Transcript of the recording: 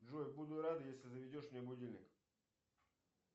джой буду рад если заведешь мне будильник